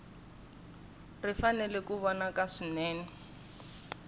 ri fanele ku vonaka swinene